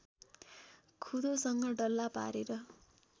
खुँदोसँग डल्ला पारेर